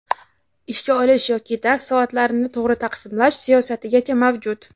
Ishga olish yoki dars soatlarini tog‘ri taqsimlash siyosatigacha mavjud.